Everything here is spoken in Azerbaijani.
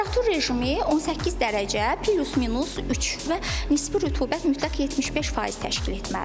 Temperatur rejimi 18 dərəcə plus minus 3 və nisbi rütubət mütləq 75% təşkil etməlidir.